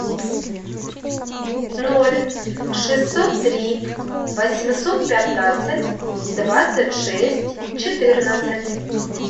ноль шестьсот три восемьсот пятнадцать двадцать шесть четырнадцать